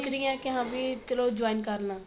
ਸੋਚ ਰਹੀ ਏ ਕੀ ਹਾਂ ਵੀ ਚਲੋ join ਕ਼ਰ ਲਾ